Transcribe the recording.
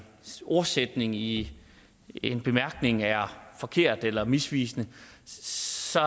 sætning i en bemærkning er forkert eller misvisende så